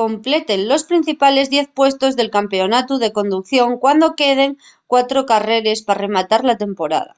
completen los principales diez puestos del campeonatu de conducción cuando queden cuatro carreres pa rematar la temporada